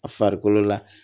A farikolo la